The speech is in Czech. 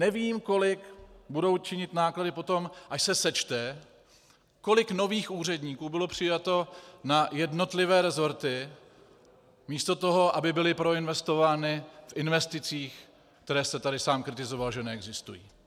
Nevím, kolik budou činit náklady potom, až se sečte, kolik nových úředníků bylo přijato na jednotlivé resorty místo toho, aby byly proinvestovány v investicích, které jste tady sám kritizoval, že neexistují.